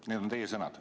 Need on teie sõnad.